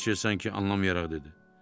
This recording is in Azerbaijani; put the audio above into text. Felçer sanki anlamayaraq dedi.